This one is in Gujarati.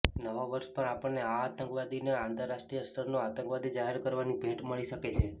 નવા વર્ષ પર આપણને આ આતંકવાદીને આંતરાષ્ટ્રીય સ્તરનો આતંકવાદી જાહેર કરાવવાની ભેંટ મળી શકે છે